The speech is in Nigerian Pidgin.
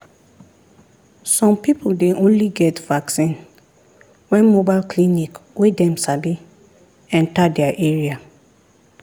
some people dey only get vaccine when mobile clinic wey dem sabi enter their area.